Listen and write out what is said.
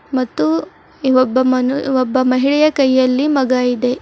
ಮತ್ತು ಇ ಒಬ್ಬ ಮನು ಒಬ್ಬ ಮಹಿಳೆ ಕೈಯಲ್ಲಿ ಮಗ ಇದೆ.